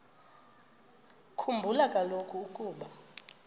khumbula kaloku ukuba